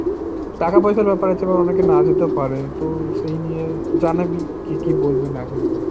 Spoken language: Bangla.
টাকা পয়সার ব্যাপার আছে বা অনেকে না যেতেও পারে তো সেই নিয়ে জানাবি কে কি বলবে না বলবে।